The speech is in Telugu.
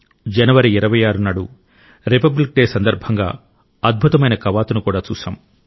జనవరి 26 నాడు రిపబ్లిక్ డే సందర్భంగా అద్భుతమైన కవాతును కూడా చూశాం